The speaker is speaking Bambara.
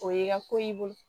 O y'i ka ko y'i bolo